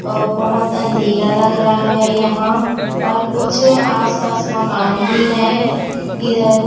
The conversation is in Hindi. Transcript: औ बहोत अंधीला लग रहा है यहां और कुछ आस पास मकान भी है इधर--